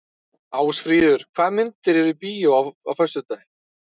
Ásfríður, hvaða myndir eru í bíó á föstudaginn?